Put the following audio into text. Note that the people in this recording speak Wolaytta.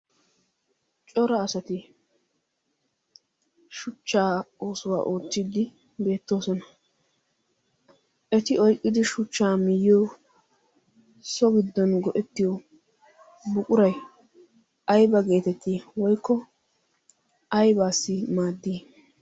Cora asati shuchchaa oosuwa oottiiddi beettoosona. Eti oyqqidi shuchchaa miyyiyo so giddon go'ettiyo buquray ayba geetettii? Woykko aybaassi maaddii?